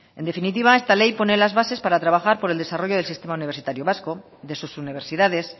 en definitiva esta ley pone las bases para trabajar por el desarrollo del sistema universitario vasco de sus universidades